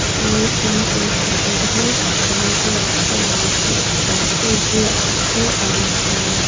ये king size का bed है जहाँ पे आपको आहा उ बैक साइड भी आपको आरा आ --